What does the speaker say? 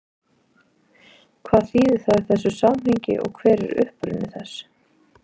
Hvað þýðir það í þessu samhengi og hver er uppruni þess?